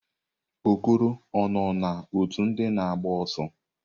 Okoro o-na òtù ndị na agba ọsọ?